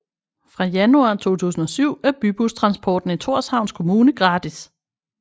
Fra januar 2007 er bybustransporten i Thorshavns kommune gratis